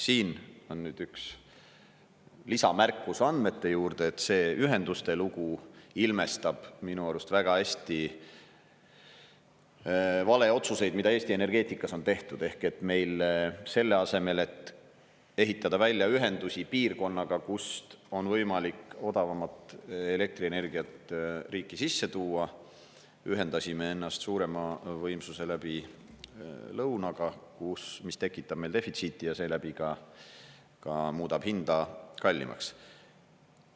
Siin on nüüd üks lisamärkus andmete juurde, et see ühenduste lugu ilmestab minu arust väga hästi valeotsuseid, mida Eesti energeetikas on tehtud, ehk et meil selle asemel, et ehitada välja ühendusi piirkonnaga, kust on võimalik odavamat elektrienergiat riiki sisse tuua, ühendasime ennast suurema võimsuse läbi lõunaga, mis tekitab meil defitsiiti ja seeläbi ka muudab hinda kallimaks.